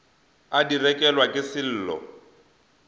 a di rekelwa ke sello